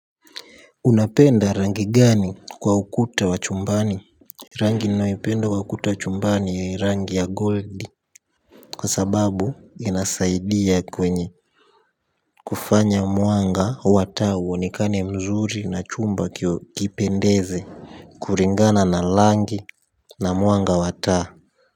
Unapenda rangi gani kwa ukuta wa chumbani rangi ninayoipenda kwa ukuta wa chumbani rangi ya gold kwa sababu inasaidia kwenye kufanya mwanga wa taa uonekane mzuri na chumba kipendeze kulingana na rangi na mwanga wa taa.